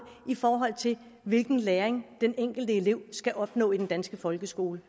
i forhold til hvilken læring den enkelte elev skal opleve i den danske folkeskole